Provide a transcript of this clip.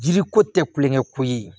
Jiri ko tɛ kulonkɛ ko ye